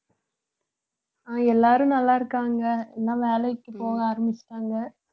ஆஹ் எல்லாரும் நல்லா இருக்காங்க எல்லாம் வேலைக்கு போக ஆரம்பிச்சுட்டாங்க